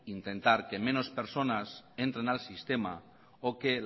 intentar que menos personas entren al sistema o que